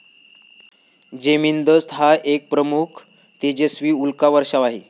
Geminids हा एक प्रमुख, तेजस्वी उल्का वर्षाव आहे.